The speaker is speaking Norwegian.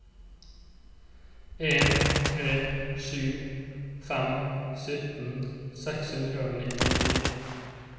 en tre sju fem sytten seks hundre og nittifire